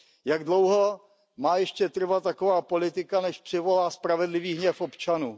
Jak dlouho má ještě trvat taková politika, než přivolá spravedlivý hněv občanů?